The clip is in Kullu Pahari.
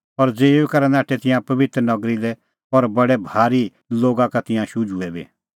और ज़िऊई करै नाठै तिंयां पबित्र नगरी लै और बडै भारी लोगा का तिंयां शुझुऐ बी